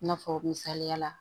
I n'a fɔ misaliya la